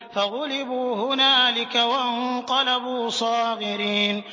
فَغُلِبُوا هُنَالِكَ وَانقَلَبُوا صَاغِرِينَ